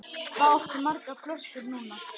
Hvað áttu margar flöskur núna?